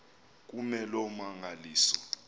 kume loo mmangaliso